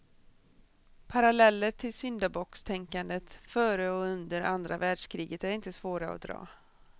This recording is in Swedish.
Paralleller till syndabockstänkandet före och under andra världskriget är inte svåra att dra.